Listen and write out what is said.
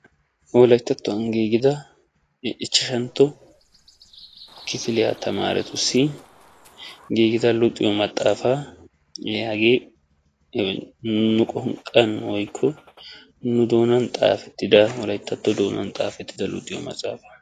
Wolayttattuwan giigida ichchashantto kifiliya tamaaretussi giigida luxiyo maxaafaa giyagee nu qonqqan woyikko nu doonan xaafettida wolayittato doonan xaafettida luxiyo maxaafaa.